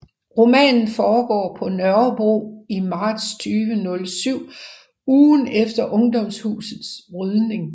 Romanen foregår på Nørrebro i marts 2007 ugen efter Ungdomshusets rydning